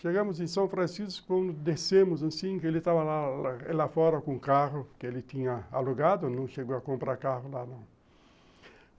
Chegamos em São Francisco, quando descemos, assim, que ele estava lá lá fora com o carro que ele tinha alugado, não chegou a comprar carro lá, não.